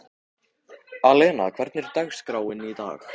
Alena, hvernig er dagskráin í dag?